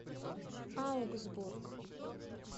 аугсбург